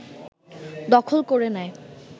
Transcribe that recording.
দখল করে নেয়